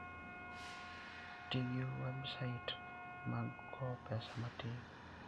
Ti gi websait mag kowo pesa matin.